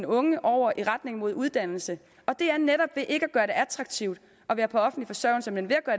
unge over i retning mod uddannelse det er netop ved ikke at gøre det attraktivt at være på offentlig forsørgelse men